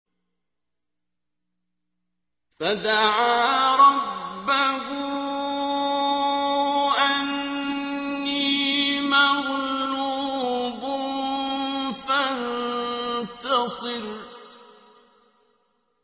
فَدَعَا رَبَّهُ أَنِّي مَغْلُوبٌ فَانتَصِرْ